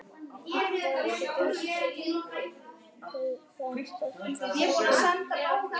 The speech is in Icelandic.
Stundum bárust líka eins og nafnlausar orðsendingar eða kveðjur frá starfsbræðrum okkar á hinum endanum.